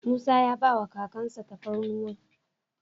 Musa ya ba kakan sa tafarnuwan.